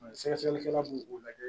Sɛgɛsɛgɛlikɛla b'o lajɛ